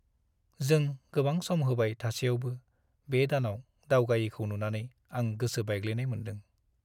जों गोबां सम होबाय थासेयावबो बे दानाव दावगायैखौ नुनानै आं गोसो बायग्लिनाय मोन्दों।